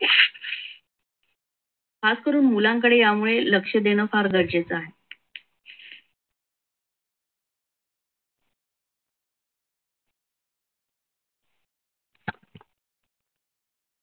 खास करून मुलांकडे यामुळे लक्ष देणे गरजेचे आहे.